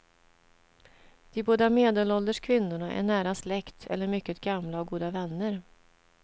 De båda medelålders kvinnorna är nära släkt eller mycket gamla och goda vänner.